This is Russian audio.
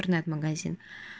интернет магазин